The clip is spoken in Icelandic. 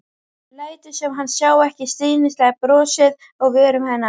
Lætur sem hann sjái ekki stríðnislegt brosið á vörum hennar.